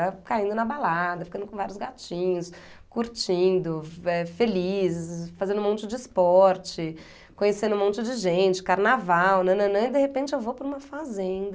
Era caindo na balada, ficando com vários gatinhos, curtindo, eh, feliz, fazendo um monte de esporte, conhecendo um monte de gente, carnaval, nananã, e de repente eu vou para uma fazenda...